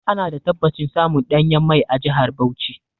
Ana da tabbacin samun ɗanyen mai a jahar Bauchi.